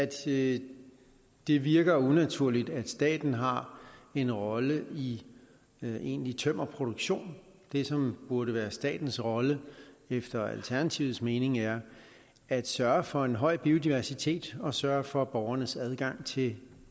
det det virker unaturligt at staten har en rolle i egentlig tømmerproduktion det som burde være statens rolle efter alternativets mening er at sørge for en høj biodiversitet og sørge for borgernes adgang til